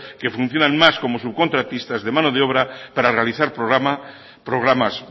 que funcionan más como subcontratistas de mano obra para realizar programas